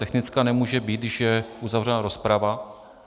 Technická nemůže být, když je uzavřena rozprava.